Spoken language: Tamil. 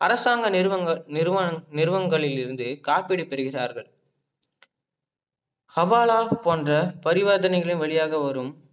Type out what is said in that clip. அரசாங்க நிறுவங்கலிருந்து காப்பீடு பெறுகிறார்கள ஹவாலா போன்ற பரிவர்தனைகளின் வழியாக வரும்